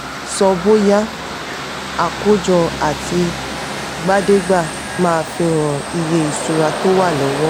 sọ bóyá: àkójọ àtì'gbàdé'gbà máa fihan iye ìṣura tó wà lówó.